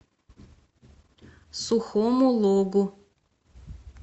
сухому логу